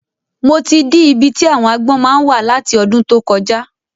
Mo ti dí ibi tí àwon agbọ́n máa ń wà láti ọdún tó kọjá